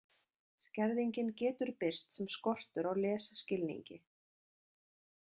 Skerðingin getur birst sem skortur á lesskilningi.